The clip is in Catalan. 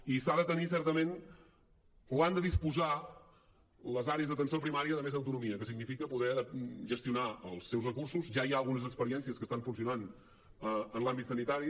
i han de disposar les àrees d’atenció primària de més autonomia que significa poder gestionar els seus recursos ja hi ha algunes experiències que estan funcionant en l’àmbit sanitari